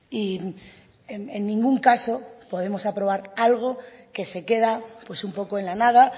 y en ningún caso podemos aprobar algo que se queda pues un poco en la nada